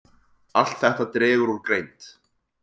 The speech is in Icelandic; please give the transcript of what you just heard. Allt þetta dregur úr greind.